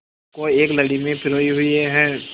को एक लड़ी में पिरोए हुए हैं